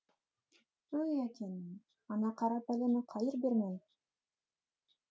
ой әкеңнің ана қара пәлені қайыр бермен